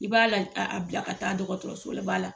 I b'a la a a bila ka taa dɔgɔtɔrɔso ba la